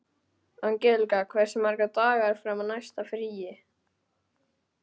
Angelíka, hversu margir dagar fram að næsta fríi?